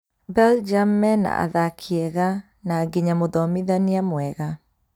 Belgium mena athaki ega, na nginya mũthomithania mwega